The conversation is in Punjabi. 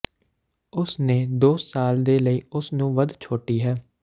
ਉਸ ਨੇ ਦੋ ਸਾਲ ਦੇ ਲਈ ਉਸ ਨੂੰ ਵੱਧ ਛੋਟੀ ਹੈ